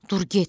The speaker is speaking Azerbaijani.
Dur get.